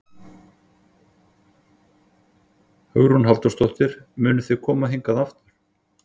Hugrún Halldórsdóttir: Munuð þið koma hingað aftur?